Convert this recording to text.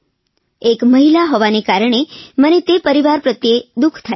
એક મહિલા હોવાના કારણે મને તે પરીવાર પ્રત્યે દુઃખ થાય છે